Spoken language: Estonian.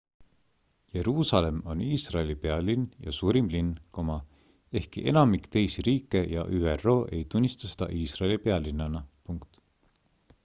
jeruusalemm on iisraeli pealinn ja suurim linn ehkki enamik teisi riike ja üro ei tunnista seda iisraeli pealinnana